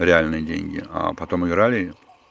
реальные деньги а потом играли